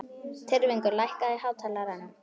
Tyrfingur, lækkaðu í hátalaranum.